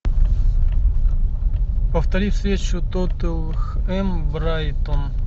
повтори встречу тоттенхэм брайтон